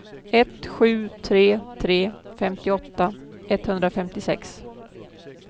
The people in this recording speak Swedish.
ett sju tre tre femtioåtta etthundrafemtiosex